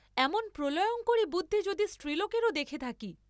এমন প্রলয়ঙ্করী বুদ্ধি যদি স্ত্রীলোকেরও দেখে থাকি!